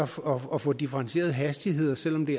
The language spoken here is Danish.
for at få differentierede hastigheder selv om det